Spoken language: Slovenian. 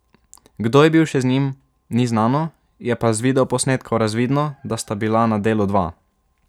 Kdo je bil še z njim, ni znano, je pa z videoposnetkov razvidno, da sta bila na delu dva.